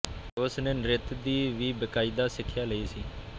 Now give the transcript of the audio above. ਉਸ ਨੇ ਨ੍ਰਿਤ ਦੀ ਵੀ ਬਕਾਇਦਾ ਸਿੱਖਿਆ ਲਈ ਸੀ